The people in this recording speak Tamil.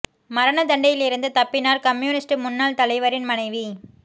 மரணத் தண்டனையில் இருந்து தப்பினார் கம்யூனிஸ்ட் முன்னாள் தலைவரின் மனைவி